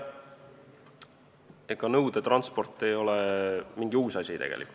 Ega nõudetransport ei ole mingi uus asi.